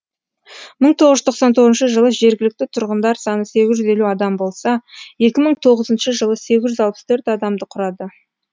мың тоғыз жүз тоқсан тоғызыншы жылы жергілікті тұрғындар саны сегіз жүз елу адам болса екі мың тоғызыншы жылы сегіз жүз алпыс төрт адамды құрады